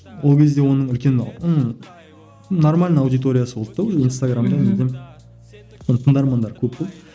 ол кезде оның үлкен ммм нормально аудиториясы болды да уже инстаграмда оның тыңдармандары көп болды